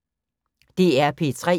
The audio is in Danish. DR P3